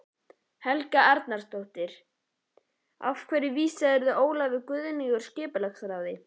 Helga Arnardóttir: Af hverju vísaðir þú Ólöfu Guðnýju úr skipulagsráði?